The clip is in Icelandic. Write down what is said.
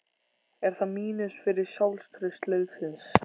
Er það mínus fyrir sjálfstraust liðsins?